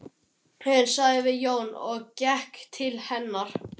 Daðína mín, sagði Jón og gekk til hennar.